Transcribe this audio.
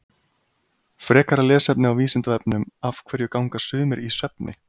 frekara lesefni á vísindavefnum af hverju ganga sumir í svefni